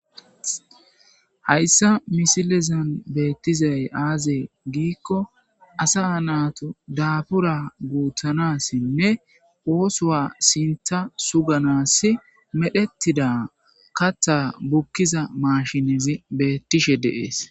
Hayssa misilezan beettizay aaze giikko asa naatu daabura guuthanassinne oosowa sinta suganas medhettida katha bukkiza maashinizi beettishe dees.